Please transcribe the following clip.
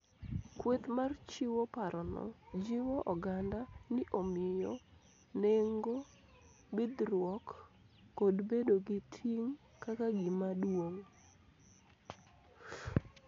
Kweth mar chiwo parono jiwo oganda ni omiyo nengo bidhruok kod bedo gi ting' kaka gima duong'